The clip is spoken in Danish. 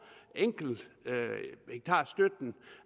hektarstøtten